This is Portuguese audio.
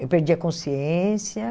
Eu perdi a consciência.